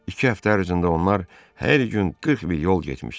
İki həftə ərzində onlar hər gün 40 mil yol getmişdilər.